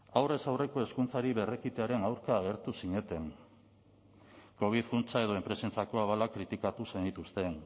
aurrez aurreko hezkuntzari berrekitearen aurka agertu zineten covid funtsa edo enpresentzako abalak kritikatu zenituzten